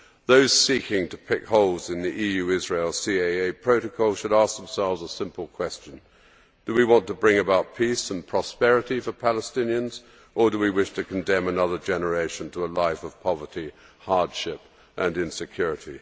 Those seeking to pick holes in the EU Israel CAA protocol should ask themselves a simple question do we want to bring about peace and prosperity for Palestinians or do we wish to condemn another generation to a life of poverty, hardship and insecurity?